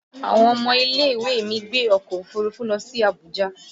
Àwọn ọmọ ilẹ̀-ìwé mi gbé ọkọ̀ òfuurufú lọ sí Abuja